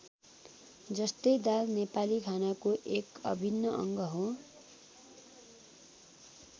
जस्तै दाल नेपाली खानाको एक अभिन्न अङ्ग हो।